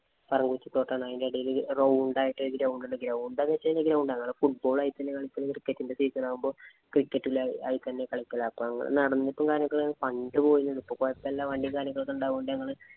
പറങ്ങാണ്ടി തോട്ടാണ്. അതിന്‍റെ എടയില് round ആയിട്ട് ഒരു ground ഉണ്ട്. Ground ആണോന്ന് ചോദിച്ചു കഴിഞ്ഞാല്‍ ground ആണ്. ഞങ്ങള് football ഉം അതിതന്നെ കളിക്കല്. Cricket ഇന്‍റെ season ആകുമ്പോ cricket ഇല് അതിതന്നെ കളിക്കല്. നടന്നിട്ട് പോകുമ്പോ ഇപ്പൊ കൊഴപ്പമില്ല. വണ്ടീം കാര്യങ്ങളും ഒക്കെ ഉണ്ടാവോണ്ട് ഞങ്ങള്